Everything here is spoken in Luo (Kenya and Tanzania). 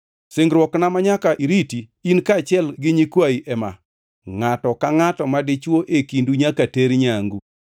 Singruokna manyaka iriti, in kaachiel gi nyikwayi ema: Ngʼato ka ngʼata madichwo e kindu nyaka ter nyangu.